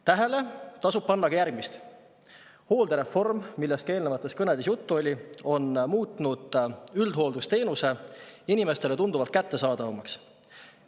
Tähele tasub panna ka järgmist: hooldereform, millest ka eelnevates kõnedes juttu oli, on muutnud üldhooldusteenuse inimestele tunduvalt kättesaadavamaks.